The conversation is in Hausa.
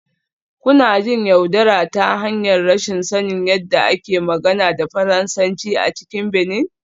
Kuna jin yaudara ta hanyar rashin sanin yadda ake magana da Faransanci a cikin Benin